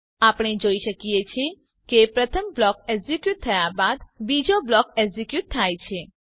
આપણે જોઈ શકીએ છીએ કે પ્રથમ બ્લોક એક્ઝીક્યુટ થયા બાદ બીજો બ્લોક એક્ઝીક્યુટ થાય છે